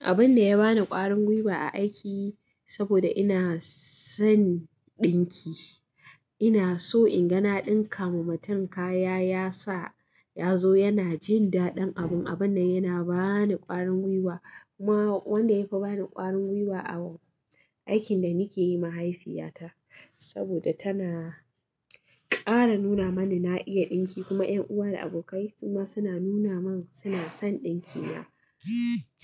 Abin da ya bani ƙwarin gwiwa a aiki saboda ina son ɗinki, ina so ingana ɗinka ma mutum kaya ya sa ya zo yana jin daɗin abun. Abin na yana ba ni ƙwarin gwiwa. Kuma wanda ya fi ba ni ƙwarin gwiwa a aikin da nake yi mahaifiyata saboda tana ƙara nuna mani na iya ɗinki kuma ƴan uwa da abokai kuma suna nuna min suna son ɗinkina,